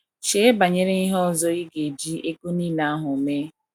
Chee banyere ihe ọzọ ị ga eji ego nile ahụ mee.